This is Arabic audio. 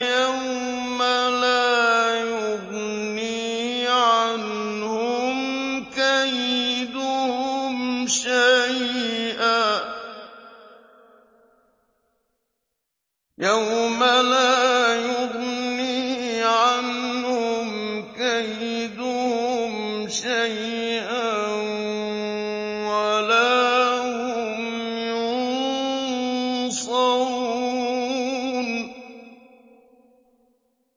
يَوْمَ لَا يُغْنِي عَنْهُمْ كَيْدُهُمْ شَيْئًا وَلَا هُمْ يُنصَرُونَ